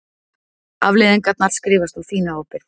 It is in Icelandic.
Afleiðingarnar skrifast á þína ábyrgð.